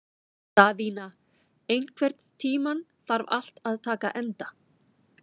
Daðína, einhvern tímann þarf allt að taka enda.